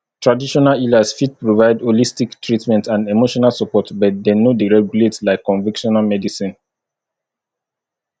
traditional healers fit provide holistic treatment and emotional support but dem no dey regulate like convictional medicine